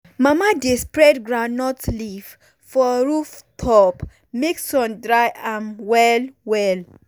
mama dey spread groundnut leaf for roof top make sun dry am well well.